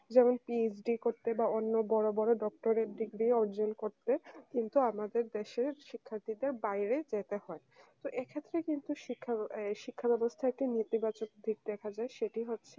যেমন PhD করতে বা বড় বড় doctored degree অর্জন করতে কিন্তু আমাদের দেশের শিক্ষার্থীদের বাইরে যেতে হয় তো এক্ষেত্রে কিন্তু শিক্ষা এই শিক্ষা ব্যবস্থায় একটি নেতিবাচক দিক দেখা যায় সেটি হচ্ছে